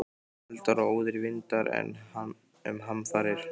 Eldar og óðir vindar- enn um hamfarir